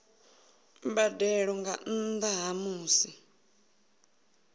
mbadelo nga nnda ha musi